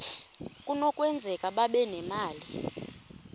kunokwenzeka babe nemali